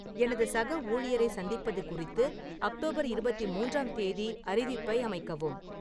எனது சக ஊழியரை சந்திப்பது குறித்து அக்டோபர் இருபத்தி மூன்றாம் தேதி அறிவிப்பை அமைக்கவும்